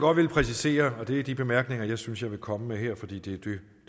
har villet præcisere og det er de bemærkninger jeg synes jeg komme med her fordi det